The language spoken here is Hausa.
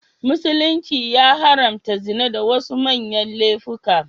Musulunci ya haramta zina da wasu manyan laifuka.